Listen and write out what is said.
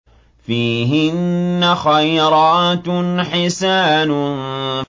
فِيهِنَّ خَيْرَاتٌ حِسَانٌ